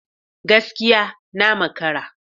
Gaskiya! Na makara